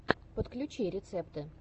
подключи рецепты